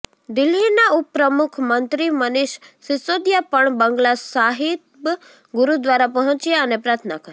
દિલ્હીના ઉપમુખ્યમંત્રી મનીષ સિસોદિયા પણ બંગલા સાહિબ ગુરુદ્વારા પહોંચ્યા અને પ્રાર્થના કરી